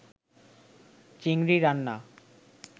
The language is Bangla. চিংড়ি রান্না